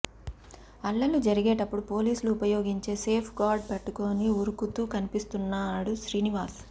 అల్లర్లు జరిగేటపుడు పోలీసులు ఉపయోగించే సేఫ్ గార్డ్ పట్టుకుని ఉరుకుతూ కనిపిస్తున్నాడు శ్రీనివాస్